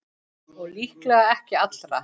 Og líklega ekki allra.